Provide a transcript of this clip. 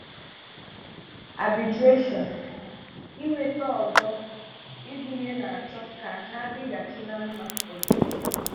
Arbitration-Inweta ọzọ ịgụ̀nye na-achọ ka ha dịghàchì ná mmà ọdịiche.